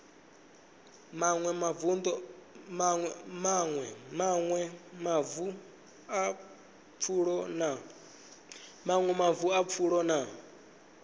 maṅwe mavu a pfulo na